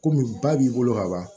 Komi ba b'i bolo ka ban